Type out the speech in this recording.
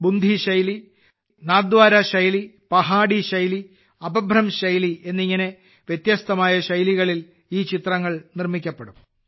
ബുന്ധി ശൈലി നാഥ്ദ്വാര ശൈലി പഹാഡി ശൈലി അപഭ്രംശ് ശൈലി എന്നിങ്ങനെ വ്യത്യസ്തമായ ശൈലികളിൽ ഈ ചിത്രങ്ങൾ നിർമ്മിക്കപ്പെടും